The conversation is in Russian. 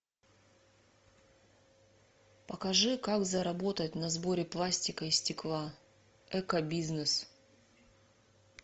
покажи как заработать на сборе пластика и стекла эко бизнес